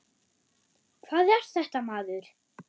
Hvað er þetta, maður!